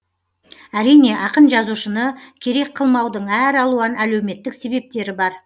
әрине ақын жазушыны керек қылмаудың әр алуан әлеуметтік себептері бар